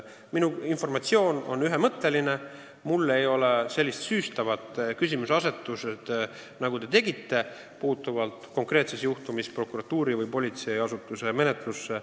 Minu vastus on ühemõtteline: mul ei ole konkreetsel juhtumil olnud põhjust selliseks süüstavaks küsimuseasetuseks, nagu teie seda tegite.